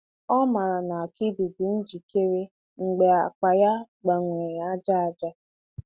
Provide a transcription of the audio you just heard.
Ọ maara na akidi dị njikere mgbe akpa ya gbanwere aja aja.